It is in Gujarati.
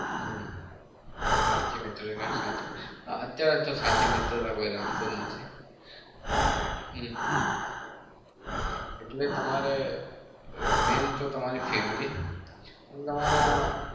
હમ સાચી મિત્રતા કેવાય સાચી વાત છે. અત્યારે તો સાચી મિત્રતા કોઈ રાખતું નહિ. હમ એટલે તમારે main તો તમારી family અને તમારા